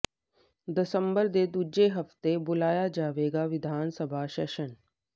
ਦਸੰਬਰ ਦੇ ਦੂਜੇ ਹਫ਼ਤੇ ਬੁਲਾਇਆ ਜਾਵੇਗਾ ਵਿਧਾਨ ਸਭਾ ਸੈਸ਼ਨ